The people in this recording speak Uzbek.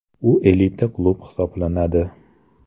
U elita klub hisoblanadi.